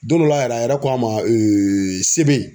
Don dɔ la yɛrɛ a yɛrɛ ko an ma ee sebe